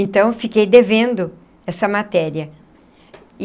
Então, fiquei devendo essa matéria.